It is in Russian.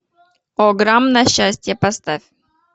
ограм на счастье поставь